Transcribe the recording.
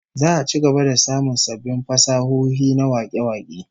Za'a ci gaba da samun sabbin fasahohi na wake-wake